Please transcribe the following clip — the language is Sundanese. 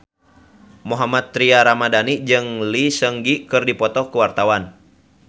Mohammad Tria Ramadhani jeung Lee Seung Gi keur dipoto ku wartawan